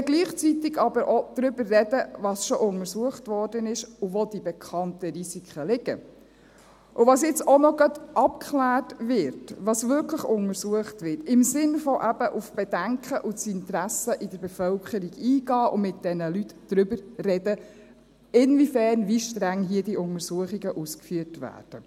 Gleichzeitig kann man aber auch darüber reden, was schon untersucht wurde, wo die bekannten Risiken liegen, was jetzt auch noch gerade abgeklärt wird und was wirklich untersucht wird, im Sinne des Eingehens auf die Bedenken und Interessen in der Bevölkerung und des Redens mit den Leuten darüber, inwiefern und wie streng hier diese Untersuchungen ausgeführt werden.